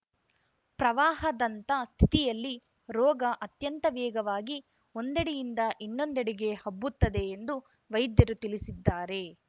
ಪ್ರವಾಹದಂಥ ಸ್ಥಿತಿಯಲ್ಲಿ ರೋಗ ಅತ್ಯಂತ ವೇಗವಾಗಿ ಒಂದೆಡೆಯಿಂದ ಇನ್ನೊಂದೆಡೆಗೆ ಹಬ್ಬುತ್ತದೆ ಎಂದು ವೈದ್ಯರು ತಿಳಿಸಿದ್ದಾರೆ